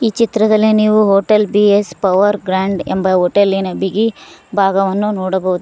ಈ ಚಿತ್ರದಲ್ಲಿ ನೀವು hotel B S power grand ಎಂಬ ಹೋಟೆಲಿನ ಬಿಗಿ ಭಾಗವನ್ನು ನೋಡಬಹುದು.